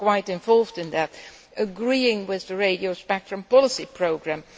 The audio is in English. is quite involved in that, agreeing with the radio spectrum policy programme.